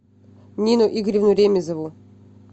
нину игоревну ремизову